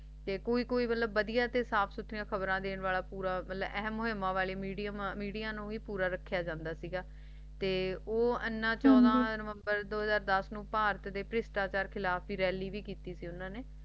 ਤੇ ਕੋਈ ਕੋਈ ਵੱਡੀਆਂ ਤੇ ਸਾਫ ਸੁਥਰੀ ਖ਼ਬਰਾਂ ਦੇਣ ਆਲਾ ਮਤਲਬ ਹਮ ਹਮ ਮੀਡਿਆ ਨੂੰ ਵੀ ਪੂਰਾ ਰੱਖਿਆ ਜਾਂਦਾ ਸੀ ਗਿਆ ਤੇ ਇਨ੍ਹਾਂ ਚੋੜਾ ਨਵੰਬਰ ਦੋ ਹਾਜ਼ਰ ਦਾਸ ਵਿਚ ਭਾਰਤ ਪਿਛਟਾਚਾਰ ਖਿਲਾਫ ਦੀ ਰੈਲੀ ਭੀ ਕਿੱਤੀ ਸੀ ਉਨ੍ਹਾਂ ਨੇ